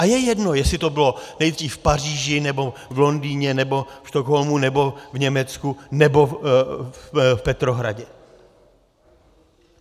A je jedno, jestli to bylo nejdřív v Paříži, nebo v Londýně, nebo ve Stockholmu, nebo v Německu, nebo v Petrohradě.